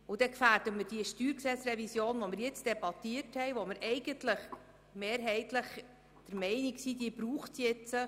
Damit würden wir die StG-Revision gefährden, über die wir jetzt debattiert haben, und von der wir eigentlich mehrheitlich der Meinung sind, dass es sie brauche.